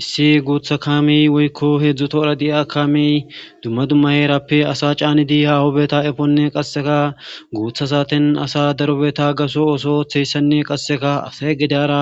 Issi guutha kaamiy woykko heedzdzu toora di'a kaamiy dumma dumma heerappe asa caanidi hawobeta efonne qasseka guutha saaten asa darobeta gaso ooso ooththeyssanne qasseka asay gidyara